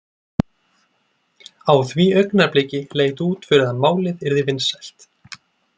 Á því augnabliki leit út fyrir að málið yrði vinsælt.